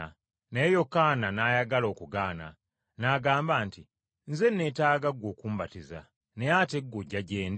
Naye Yokaana n’ayagala okugaana, n’agamba nti, “Nze neetaaga ggwe okumbatiza, naye ate gw’ojja gye ndi?”